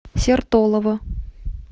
сертолово